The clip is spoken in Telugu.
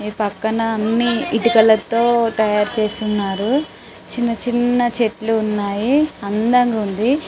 ఈ పక్కన అన్ని ఇటుకలతో తయారు చేసి ఉన్నారు చిన్న చిన్న చెట్లు ఉన్నాయి అందంగా ఉంది --